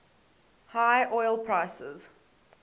high oil prices